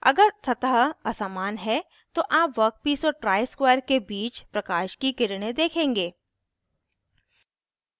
अगर सतह असमान है तो आप वर्कपीस और ट्राइस्क्वायर के बीच प्रकाश की किरणें देखेंगे